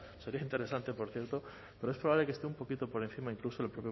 sería interesante por cierto pero es probable que esté un poquito por encima incluso del